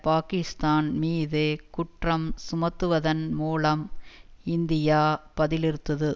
பாக்கிஸ்தான் மீது குற்றம் சுமத்துவதன் மூலம் இந்தியா பதிலிறுத்தது